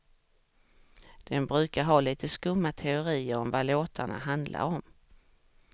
De brukar ha lite skumma teorier om vad låtarna handlar om.